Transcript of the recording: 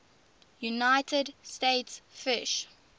united states fish